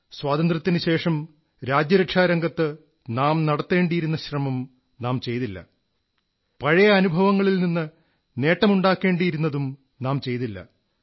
സ്വാതന്ത്ര്യത്തിനുശേഷം രാജ്യരക്ഷാരംഗത്ത് നാം നടത്തേണ്ടിയിരുന്ന ശ്രമം നാം ചെയ്തില്ല പഴയ അനുഭവങ്ങളിൽ നിന്ന് നേട്ടമുണ്ടാക്കേണ്ടിയിരുന്നതും നാം ചെയ്തില്ല